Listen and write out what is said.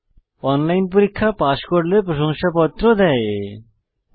online পরীক্ষা pass করলে প্রশংসাপত্র সার্টিফিকেট দেয়